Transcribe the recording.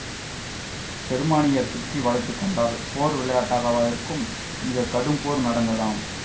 ஜெர்மானியர் சுற்றி வளைத்துக்கொண்டால் போர் விளையாட்டாகவா இருக்கும் மிக கடும்போர் நடத்ததாம்